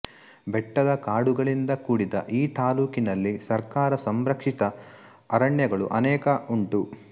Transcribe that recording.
ಬೆಟ್ಟದ ಕಾಡುಗಳಿಂದ ಕೂಡಿದ ಈ ತಾಲ್ಲೂಕಿನಲ್ಲಿ ಸರ್ಕಾರಸಂರಕ್ಷಿತ ಅರಣ್ಯಗಳು ಅನೇಕ ಉಂಟು